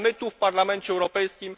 Ale my tu w Parlamencie Europejskim